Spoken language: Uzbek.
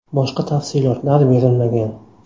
Boshqa tafsilotlar berilmagan.